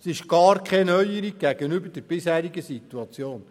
Es ist gar keine Neuerung gegenüber der bisherigen Situation.